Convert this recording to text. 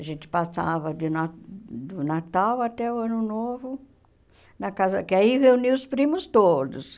A gente passava de na do Natal até o Ano Novo na casa, que aí reunia os primos todos.